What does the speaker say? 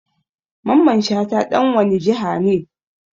Mamman Shata dan wani jiha ne?